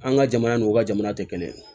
An ka jamana n'u ka jamana tɛ kelen ye